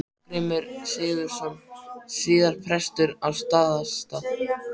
Þorgrímur Sigurðsson, síðar prestur á Staðarstað.